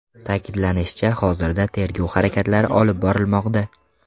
Ta’kidlanishicha, hozirda tergov harakatlari olib borilmoqda.